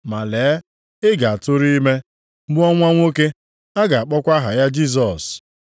Ma lee ị ga-atụrụ ime, mụọ nwa nwoke. Ị ga-akpọkwa aha ya Jisọs.